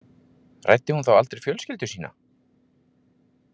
Ræddi hún þá aldrei fjölskyldu sína?